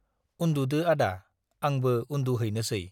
उन्दुदो आदा, आंबो उन्दुहैनोसै।